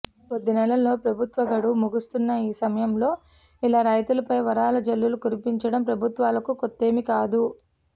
ఇంకొద్ది నెలల్లో ప్రభుత్వ గడువు ముగుస్తున్న ఈ సమయంలో ఇలా రైతులపై వరాల జల్లు కురిపించడం ప్రభుత్వాలకు కొత్తేమీ కాదు